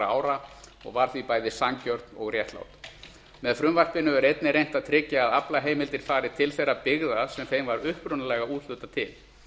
ára og var því bæði sanngjörn og réttlát með frumvarpinu er einnig reynt að tryggja að aflaheimildir fari til þeirra byggða sem þeim var upprunalega úthlutað til